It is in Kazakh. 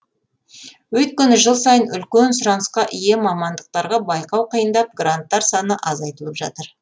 өйткені жыл сайын үлкен сұранысқа ие мамандықтарға байқау қиындап гранттар саны азайтылып жатыр